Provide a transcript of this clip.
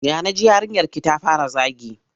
Ya na ji yarinyarki ta fara zagi?